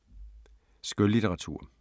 Skønlitteratur